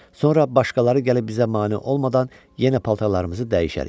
Sonra başqaları gəlib bizə mane olmadan yenə paltarlarımızı dəyişərik.